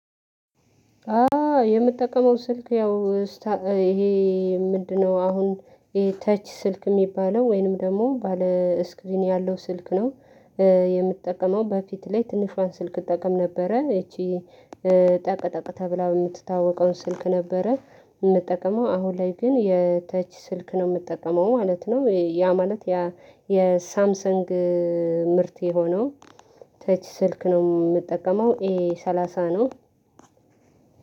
አ የምጠቀመው ስልክ ያው ይሄ ምንድነው አሁን ይሄ ተች ስልክ የሚባለው ወይንም ደግሞ ባለ ስክሪን ያለው ስልክ ነው። የምትጠቀመው በፊት ላይ ትንሿን ስልክ እጠቀም ነበረ ይቺ ጠቅ ጠቅ ተብላ የምትታወቀውን ስልክ ነበረ። የምጠቀመው አሁን ላይ ግን የተች ስልክ ነው የምጠቀመው ማለት ነው። ያ ማለት የሳምሰንግ ምርት የሆነው ተች ስልክ ነው። የምጠቀመው ኤ ሰላሳ ነው።